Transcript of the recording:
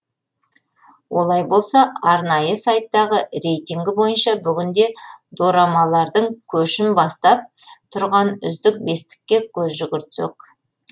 олай болса арнайы сайттағы рейтінгі бойынша бүгінде дорамалардың көшін бастап тұрған үздік бестікке көз жүгіртсек